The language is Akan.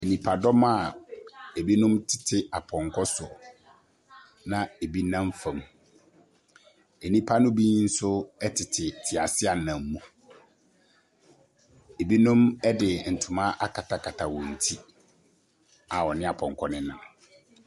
Nnipadɔm a ebinom te apɔnkɔ so na ebi nam fam. Nnipa no bi nso tete teaseɛnam mu. Binom de ntoma akatakata wɔn ti a wɔne apɔnkɔ no nam.